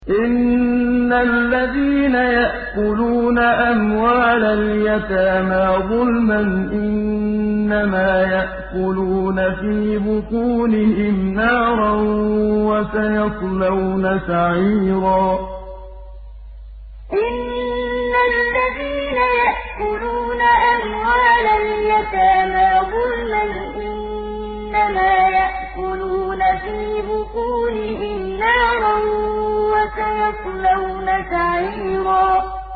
إِنَّ الَّذِينَ يَأْكُلُونَ أَمْوَالَ الْيَتَامَىٰ ظُلْمًا إِنَّمَا يَأْكُلُونَ فِي بُطُونِهِمْ نَارًا ۖ وَسَيَصْلَوْنَ سَعِيرًا إِنَّ الَّذِينَ يَأْكُلُونَ أَمْوَالَ الْيَتَامَىٰ ظُلْمًا إِنَّمَا يَأْكُلُونَ فِي بُطُونِهِمْ نَارًا ۖ وَسَيَصْلَوْنَ سَعِيرًا